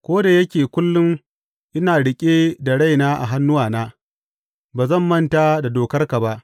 Ko da yake kullum ina riƙe da raina a hannuwana, ba zan manta da dokarka ba.